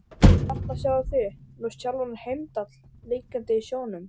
Og þarna sjáið þið nú sjálfan Heimdall liggjandi á sjónum.